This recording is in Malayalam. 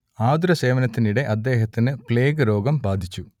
ആതുരസേവനത്തിനിടെ അദ്ദേഹത്തിന് പ്ലേഗ് രോഗം ബാധിച്ചു